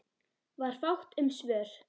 Var fátt um svör.